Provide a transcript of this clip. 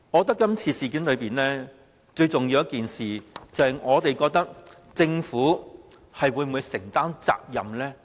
就今次的事件，我們覺得最重要是政府會否承擔責任。